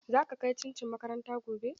Za ka kai cincin makaranta gobe?